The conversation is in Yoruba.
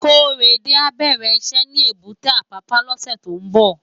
Korede á bèrè iṣè ni ébùté Apapa lòsè tó n bò